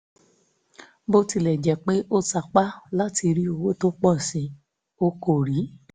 bó tilẹ̀ jẹ́ pé ó sapá láti rí owó tó pọ̀ sí i ó kò rí i